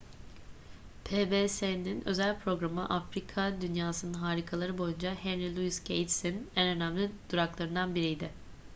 pbs'in özel programı afrika dünyasının harikaları boyunca henry louis gates'in en önemli duraklarından biriydi